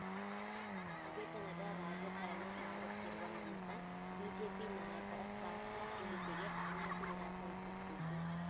ಹಗೆತನದ ರಾಜಕಾರಣ ಮಾಡುತ್ತಿರುವ ಮಮತಾ ಬಿಜೆಪಿ ನಾಯಕರ ಕಾರ್ಫ ಇಳಿಕೆಗೆ ಅನುಮತಿ ನಿರಾಕರಿಸುತ್ತಿದ್ದು